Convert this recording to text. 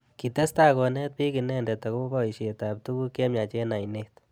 Kitestai konet bik inendet akobo boishet ab tukuk chemyach eng ainet.